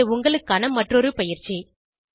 இங்கே உங்களுக்கான மற்றொரு பயிற்சி